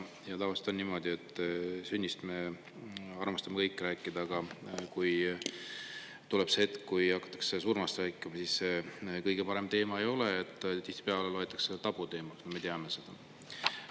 Ja tavaliselt on niimoodi, et sünnist me armastame kõik rääkida, aga kui tuleb see hetk, kui hakatakse surmast rääkima, siis see kõige parem teema ei ole, tihtipeale loetakse tabuteemaks, me teame seda.